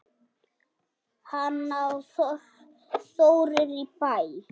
Hanna og Þórir í Bæ.